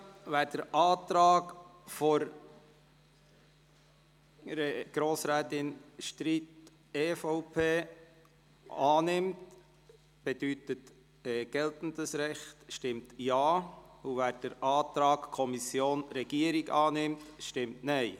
Wer den Antrag Streit/EVP – geltendes Recht – annehmen will, stimmt Ja, wer den Antrag Kommission/Regierung annimmt, stimmt Nein.